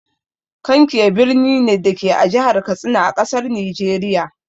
Kankia birni ne, da ke a Jihar Katsina, a ƙasar Nijeriya.